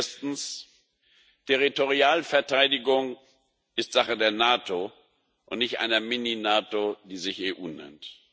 Erstens Territorialverteidigung ist Sache der NATO und nicht einer Mini NATO, die sich EU nennt.